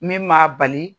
Min m'a bali